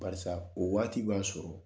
Barisa o waati b'a sɔrɔ